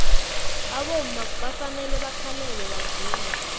abomma bafanele bakhalele bavume